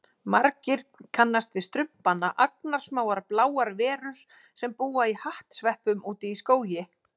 Margir kannast við Strumpana, agnarsmáar bláar verur sem búa í hattsveppum úti í skógi.